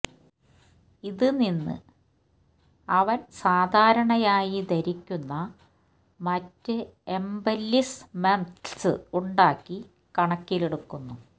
ഇത് നിന്ന് അവൻ സാധാരണയായി ധരിക്കുന്ന മറ്റ് എംബെല്ലിശ്മെംത്സ് ഉണ്ടാക്കി കണക്കിലെടുക്കുന്നു